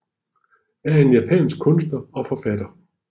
er en japansk kunstner og forfatter